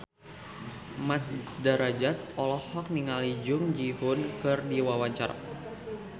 Mat Drajat olohok ningali Jung Ji Hoon keur diwawancara